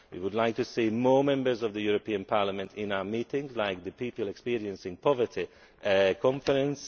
House we would like to see more Members of the European Parliament in our meetings, like at the People Experiencing Poverty Conference.